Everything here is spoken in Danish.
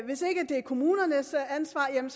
kommunernes ansvar jamen